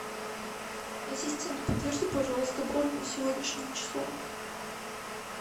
ассистент подтверди пожалуйста бронь на сегодняшнее число